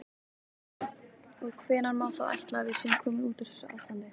Og hvenær má þá ætla að við séum komin út úr þessu ástandi?